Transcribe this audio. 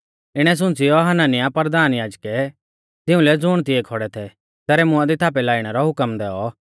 इणै शुणियौ हनन्याह परधान याजकै तिउंलै ज़ुण तिऐ खौड़ै थै तेसरै मुंआ दी थापै लाइणै रौ हुकम दैऔ